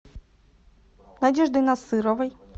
надеждой насыровой